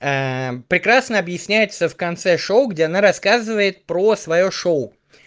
прекрасно объясняется в конце шоу где она рассказывает про своё шоу